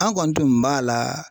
An kɔni tun b'a la